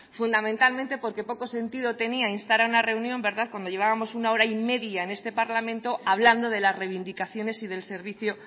fundamentalmente porque poco sentido tenía instar a una reunión cuando llevábamos una hora y media en este parlamento hablando de las reivindicaciones y del servicio